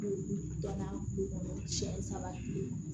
Dɔnna du kɔnɔ siɲɛ saba kile